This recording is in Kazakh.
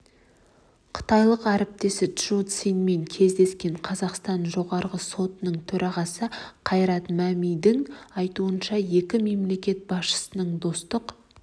қытайлық әріптесі чжоу цянмен кездескен қазақстан жоғарғы сотының төрағасы қайрат мәмидің айтуынша екі мемлекет басшысының достық